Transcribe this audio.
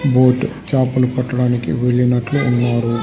Boat చాపలు పట్టడానికి వెళ్లినట్లు ఉన్నారు.